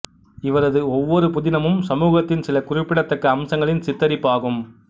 இவரது ஒவ்வொரு புதினமும் சமூகத்தின் சில குறிப்பிடத்தக்க அம்சங்களின் சித்தரிப்பு ஆகும்